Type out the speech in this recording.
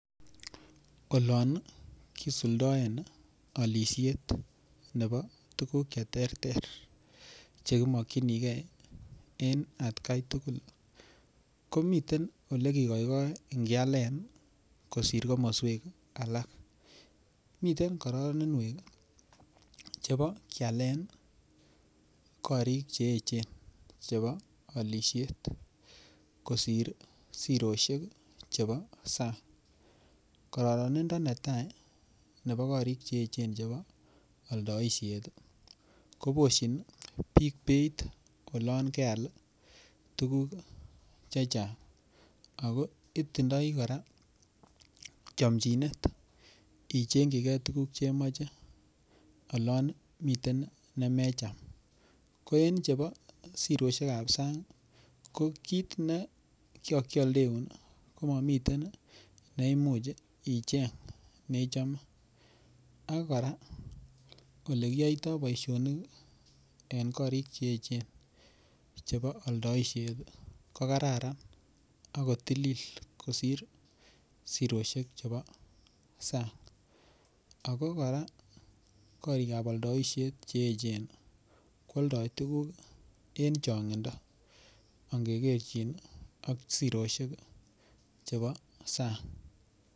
Olon kisuldaen olishet nebo tukuk cheterter chekimokchinigei eng' atkaitugul komiten ole kikoikoen kialen kosir komoswek alak miten kororanwek chebo kialen korik cheechen chebo olishet kosir siroshek chebo sang' kororanindo netai nebo korik cheechen chebo oldoishet koboshin biik beit olon keal tukuk chechang' ako itindoi kora chomchinet icheng'chigei tukuk chemoche olon miten nemecham ko en chebo siroshekab sang' ko kiit ne kakieldeun komamiten neimuch icheng' neichome ak kora ole kiyoitoi boishonik en korik cheechen chebo oldoishet ko kararan ako tilil kosir siroshek chebo sang' ako kora korikab oldoishet cheechen keoldoi tukuk en chong'indo angekerchin ak siroshek chebo sang'